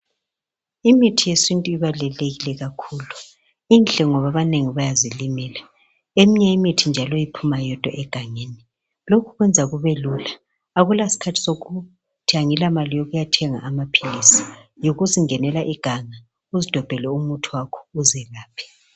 Imithi yesintu ibalulekile kakhulu. Mihle ngoba abanengi bayazilimela, eminye imithi njalo iphuma yodwa egangeni. Lokhu kwenza kube lula. Akulaskhathi sokuthi angilamali yokuyathenga amaphilisi. Yikuzingenela iganga uzidobhele umuthi wakho, uzelaphe.